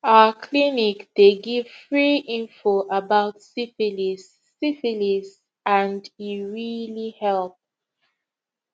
our clinic dey give free info about syphilis syphilis and e really help